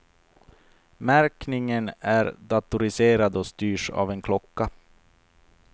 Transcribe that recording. Märkningen är datoriserad och styrs av en klocka.